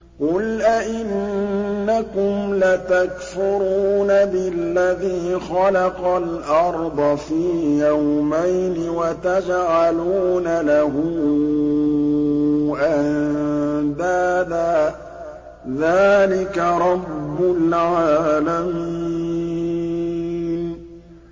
۞ قُلْ أَئِنَّكُمْ لَتَكْفُرُونَ بِالَّذِي خَلَقَ الْأَرْضَ فِي يَوْمَيْنِ وَتَجْعَلُونَ لَهُ أَندَادًا ۚ ذَٰلِكَ رَبُّ الْعَالَمِينَ